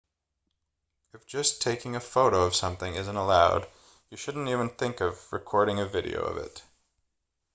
if just taking a photo of something isn't allowed then you shouldn't even think of recording a video of it